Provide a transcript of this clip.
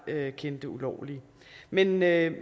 kendte ulovlige men med